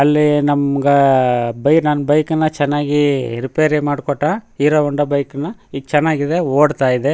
ಅಲ್ಲಿ ನಮ್ಮಗ ಬಯ್ ನ ಬೈಕ್ ನ ಚನ್ನಾಗಿ ರಿಪೇರಿ ಮಾಡಕೊಟ್ಟಾ ಹೀರೊ ಹೋಂಡಾ ಬೈಕ್ ನ ಈಗ್ ಚನ್ನಾಗಿದೆ ಓಡ್ತಾ ಇದೆ.